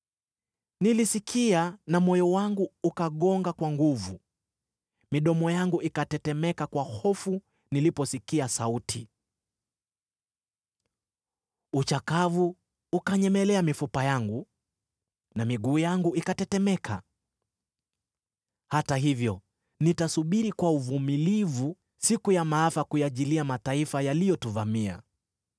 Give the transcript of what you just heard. Nilisikia na moyo wangu ukagonga kwa nguvu, midomo yangu ikatetemeka kwa hofu niliposikia sauti; uchakavu ukanyemelea mifupa yangu, na miguu yangu ikatetemeka. Hata hivyo nitasubiri kwa uvumilivu siku ya maafa kuyajilia mataifa yaliyotuvamia.